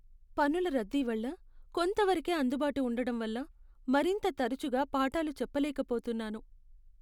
పనుల రద్దీ వల్ల, కొంతవరకే అందుబాటు ఉండటం వల్ల, మరింత తరచుగా పాఠాలు చెప్పలేక పోతున్నాను.